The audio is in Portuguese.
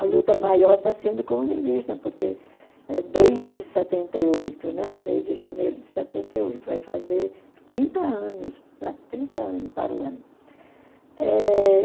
A luta maior está sendo com os indígenas, porque eh desde setenta e oito, né, desde janeiro de setenta e oito, vai fazer trinta anos, né, trinta anos para o ano.